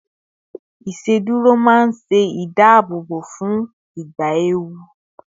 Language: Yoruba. iṣeduro ma n se ìdáàbòbò fún ìgbà ewu